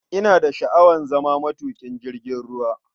Ina da sha'awar zama matuƙin jirgin ruwa.